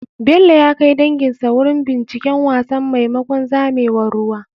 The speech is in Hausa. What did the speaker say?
Bello ya kai danginsa wurin binciken wasan maimakon zamewar ruwa.